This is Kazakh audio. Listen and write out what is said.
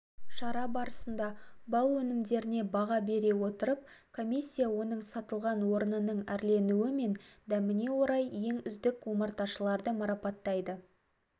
шара барысында бал өнімдеріне баға бере отырып комиссия оның сатылған орнының әрленуі мен дәміне орай ең үздік омарташыларды марапаттайды